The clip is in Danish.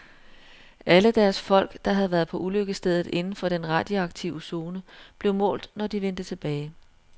Alle deres folk, der havde været på ulykkesstedet inden for den radioaktive zone, blev målt, når de vendte tilbage.